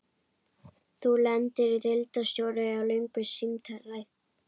Nú lendir deildarstjóri í löngu símtali.